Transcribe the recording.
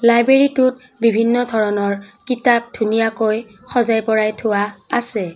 লাইব্ৰেৰীটোত বিভিন্ন ধৰণৰ কিতাপ ধুনীয়াকৈ সজাই পৰাই থোৱা আছে।